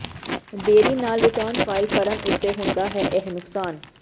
ਦੇਰੀ ਨਾਲ return file ਕਰਨ ਉੱਤੇ ਹੁੰਦਾ ਹੈ ਇਹ ਨੁਕਸਾਨ